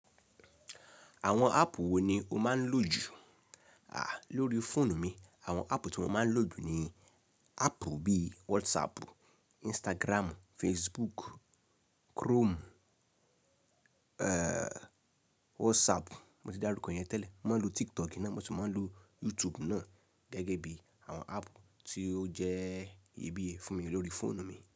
Àwọn áàpù wo ni o máa ń lò jù? À, lórí fóònù mi àwọn áàpù tí mo máa ń lò jù ni áàpù bíi WhatsApp, Instagram, Facebook, Chrome, WhatsApp, mo ti dáruko iyẹn tẹ́lẹ̀. Mo máa ń lo TikTok nà, mo tun máa ń lo YouTube náà gẹ́gẹ́ bí àwọn áàpù tí ó jẹ́ iyebiye fún mi lórí fóònù mi.